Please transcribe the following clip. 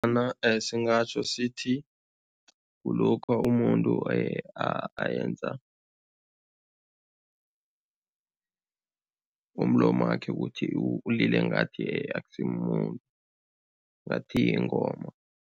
Bona singatjho sithi kulokha umuntu ayenza umlomakhe ukuthi ulile ngathi akusimumuntu, ngathi yingoma.